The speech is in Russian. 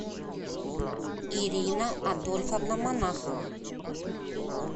ирина адольфовна монахова